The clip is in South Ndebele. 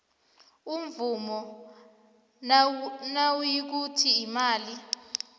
imvumo nayikuthi imali